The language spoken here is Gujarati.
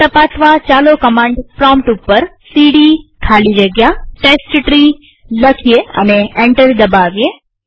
તે તપાસવાચાલો કમાંડ પ્રોમ્પ્ટ ઉપર સીડી ખાલી જગ્યા ટેસ્ટટ્રી લખીએ અને એન્ટર દબાવીએ